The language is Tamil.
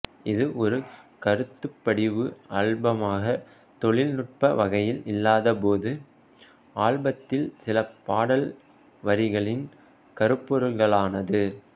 இது ஒரு கருத்துப்படிவ ஆல்பமாக தொழில்நுட்ப வகையில் இல்லாத போது ஆல்பத்தில் சில பாடல் வரிகளின் கருப்பொருள்களானது